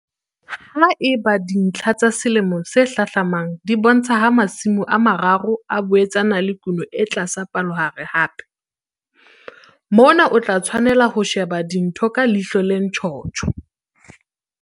Ha eba dintlha tsa selemo se hlahlamang di bontsha ha Masimo a 3 a boetse a na le kuno e tlasa palohare hape, mona o tla tshwanela ho sheba dintho ka ihlo le ntjhotjho.